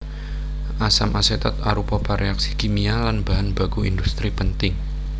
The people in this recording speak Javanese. Asam asetat arupa pereaksi kimia lan bahan baku industri penting